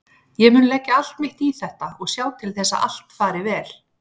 Ég mun leggja allt mitt í þetta og sjá til þess að allt fari vel.